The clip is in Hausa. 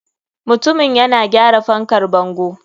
Mutumin yana gyara fankar bango.